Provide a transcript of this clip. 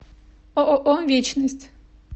ооо вечность